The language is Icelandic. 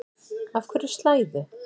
Af hverju slæðu?